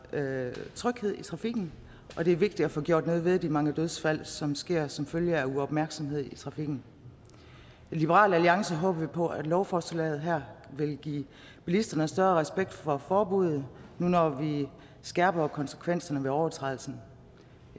tryghed i trafikken og det er vigtigt at få gjort noget ved de mange dødsfald som sker som følge af uopmærksomhed i trafikken i liberal alliance håber vi på at lovforslaget her vil give bilisterne større respekt for forbuddet nu når vi skærper konsekvenserne ved overtrædelse